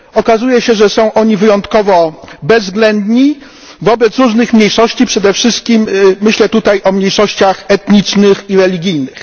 Okazuje się, że są oni wyjątkowo bezwzględni wobec różnych mniejszości, przede wszystkim myślę tutaj o mniejszościach etnicznych i religijnych.